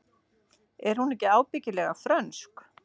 Er hún ekki ábyggilega frönsk?